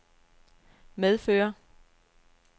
medfører